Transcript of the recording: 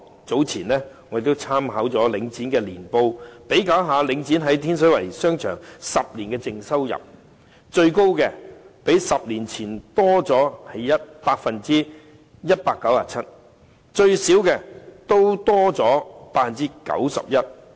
早前我曾參考領展的年報，以比較領展在天水圍的商場10年以來的淨收入，最高的是較10年前多 197%； 最少的也多出 91%。